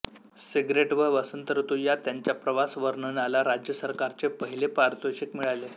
cigarette व वसंतऋतू या त्यांच्या प्रवासवर्णनाला राज्य सरकारचे पहिले पारितोषिक मिळाले